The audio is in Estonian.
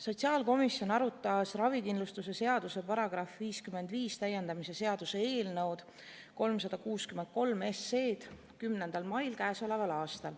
Sotsiaalkomisjon arutas ravikindlustuse seaduse § 55 täiendamise seaduse eelnõu 363 tänavu 10. mail.